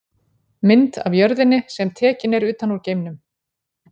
Mynd af jörðinni sem tekin er utan úr geimnum.